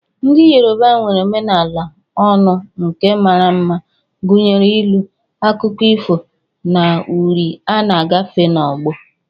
Ndị Yoruba nwere omenala ọnụ nke mara mma, gụnyere ilu, akụkọ ifo, na uri a na-agafe n'ọgbọ.